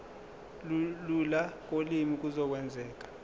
lula kolimi kuzokwenzeka